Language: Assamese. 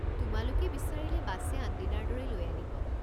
তোমালোকে বিচাৰিলে বাছে আনদিনাৰ দৰেই লৈ আনিব।